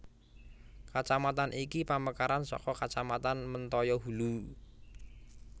Kacamatan iki pamekaran saka kacamatan Mentaya Hulu